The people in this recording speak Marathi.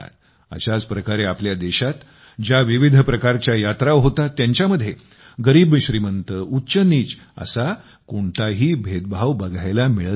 अशाच प्रकारे आपल्या देशात ज्या विविध प्रकारच्या यात्रा होतात त्यांच्यामध्ये गरीबश्रीमंत उच्चनीच असा कोणताही भेदभाव बघायला मिळत नाही